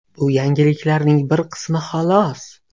Bu yangiliklarning bir qismi, xolos.